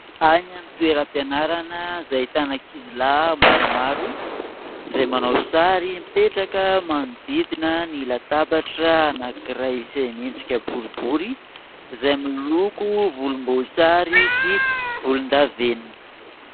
Any amin'ny toeram-pianarana izay ahitana ankizy lahy maromaro izay manao sary, mipetraka manodidina ny latabatra anankiray izay miendrika boribory izay miloko volomboasary sy volondavenona.